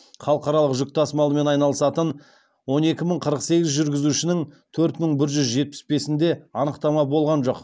халықаралық жүк тасымалымен айналысатын он екі мың қырық сегіз жүргізушінің төрт мың бір жүз жетпіс бесінде анықтама болған жоқ